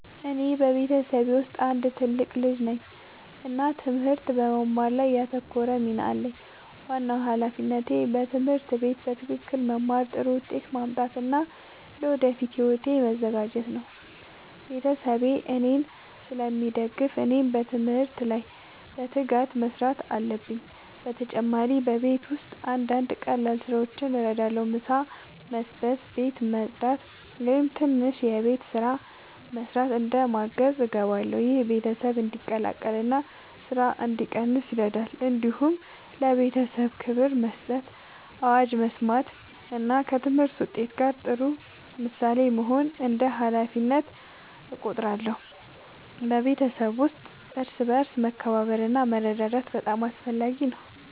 እኔ በቤተሰቤ ውስጥ አንድ ትልቅ ልጅ ነኝ እና ትምህርት በመማር ላይ ያተኮረ ሚና አለኝ። ዋናው ሃላፊነቴ በትምህርት ቤት በትክክል መማር፣ ጥሩ ውጤት ማምጣት እና ለወደፊት ሕይወቴ መዘጋጀት ነው። ቤተሰቤ እኔን ስለሚደግፉ እኔም በትምህርት ላይ በትጋት መስራት አለብኝ። በተጨማሪ በቤት ውስጥ አንዳንድ ቀላል ስራዎችን እረዳለሁ። ምሳ መስበስ፣ ቤት ማጽዳት ወይም ትንሽ የቤት ስራ መስራት እንደ ማገዝ እገባለሁ። ይህ ቤተሰብ እንዲቀላቀል እና ስራ እንዲቀንስ ይረዳል። እንዲሁም ለቤተሰቤ ክብር መስጠት፣ አዋጅ መስማት እና ከትምህርት ውጤት ጋር ጥሩ ምሳሌ መሆን እንደ ሃላፊነቴ እቆጥራለሁ። በቤተሰብ ውስጥ እርስ በርስ መከባበር እና መረዳዳት በጣም አስፈላጊ ነው።